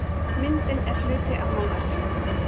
Myndin er hluti af málverkinu